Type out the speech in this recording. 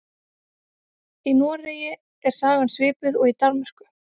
Í Noregi er sagan svipuð og í Danmörku.